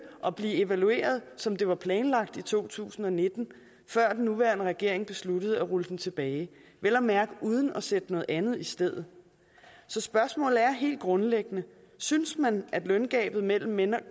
og blive evalueret som det var planlagt i to tusind og nitten før den nuværende regering besluttede at rulle den tilbage vel at mærke uden at sætte noget andet i stedet så spørgsmålet er helt grundlæggende synes man at løngabet mellem mænd og